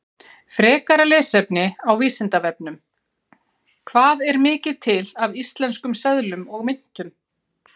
Frekara lesefni á Vísindavefnum: Hvað er mikið til af íslenskum seðlum og myntum?